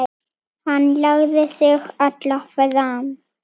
Hann lagði sig allan fram.